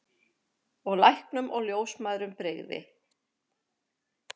Og læknum og ljósmæðrum brygði.